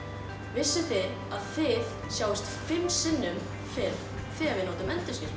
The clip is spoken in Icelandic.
vissuð þið að þið sjáist fimm sinnum betur þegar þið notið